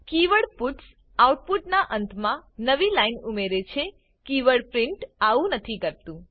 keyword puts output ના અંત માં નવી લાઈન ઉમેરે છેકીવર્ડ પ્રિન્ટ આવું નથી કરતું